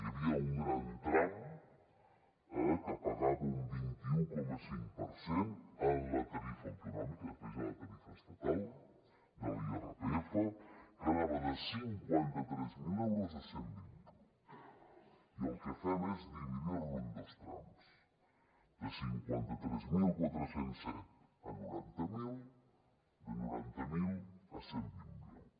hi havia un gran tram que pagava un vint un coma cinc per cent en la tarifa autonòmica després hi ha la estatal de l’irpf que anava de cinquanta tres mil euros a cent i vint miler i el que fem és dividir lo en dos trams de cinquanta tres mil quatre cents i set a noranta miler de noranta miler a cent i vint miler